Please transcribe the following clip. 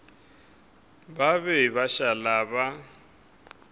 ba be ba šala ba